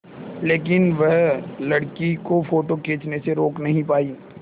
लेकिन वह लड़की को फ़ोटो खींचने से रोक नहीं पाई